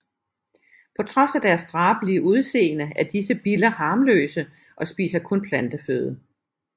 På trods af deres drabelige udseende er disse biller harmløse og spiser kun planteføde